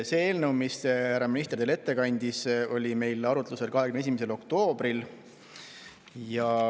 See eelnõu, mille härra minister teile ette kandis, oli meil arutlusel 21. oktoobril.